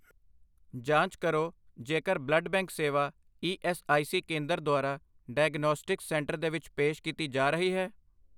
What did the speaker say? ਜਾਂਚ ਕਰੋ ਜੇਕਰ ਬਲੱਡ ਬੈਂਕ ਸੇਵਾ ਈ ਐੱਸ ਆਈ ਸੀ ਕੇਂਦਰ ਦੁਆਰਾ ਡਾਇਗਨੌਸਟਿਕਸ ਸੈਂਟਰ ਦੇ ਵਿੱਚ ਪੇਸ਼ ਕੀਤੀ ਜਾ ਰਹੀ ਹੈ।